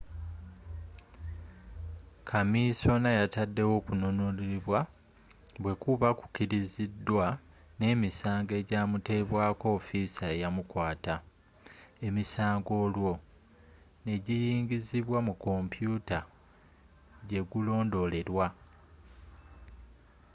kamisona yatadewo okununulibwa bwekuba kukirizidwa n'emisango ejamutekebwako ofiisa eyamukwata emisango olwo negiyingizibwa mu kompyuta jegulondoleerwa